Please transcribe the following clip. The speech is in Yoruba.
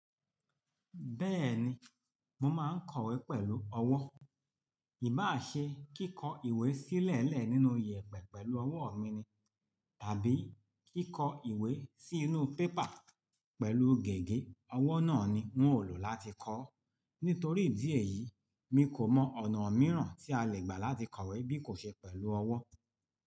Bẹ́ẹ̀ni, mo máa ń kọ̀wé pẹ̀lú ọwọ́. Ìbá à ṣe kí kọ ìwé sílẹ̀elẹ̀ nínú yẹ̀epẹ̀ pẹ̀lú ọwọ́ mi ni, tàbí kí kọ ìwé sí inú paper pẹ̀lú gègé, ọwọ́ náà ni wón ó lò láti kọ. Nítorí ìdí èyí, mi kò mọ ọ̀nà míràn tí a lè gbà láti kọ̀wé bí kò ṣe pẹ̀lú ọwọ́.